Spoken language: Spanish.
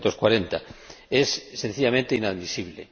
1940. Es sencillamente inadmisible.